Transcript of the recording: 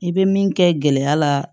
I bɛ min kɛ gɛlɛya la